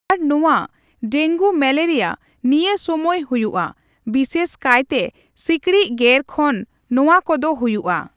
ᱟᱨ ᱱᱚᱣᱟ dengue malaria ᱱᱤᱭᱟᱹ ᱥᱚᱢᱚᱭ ᱦᱩᱭᱩᱜᱼᱟ ᱾ᱵᱤᱥᱮᱥ ᱠᱟᱭᱛᱮ ᱥᱤᱠᱲᱤᱡ ᱜᱮᱨ ᱠᱷᱚᱱ ᱱᱚᱣᱟ ᱠᱚᱫᱚ ᱦᱩᱭᱩᱜᱼᱟ ᱾